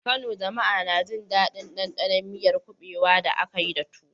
A Kano, jama'a na jin daɗin ɗanɗanon miyar kubewa da aka yi da tuwo.